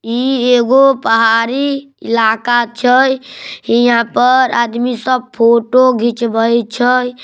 इ एगो पहाड़ी इलाका छे हिया पर आदमी सब फोटो खिचवइ छे।